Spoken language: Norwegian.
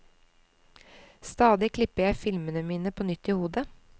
Stadig klipper jeg filmene mine på nytt i hodet.